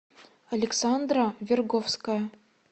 александра верговская